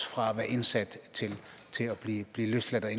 fra at være indsat til at blive løsladt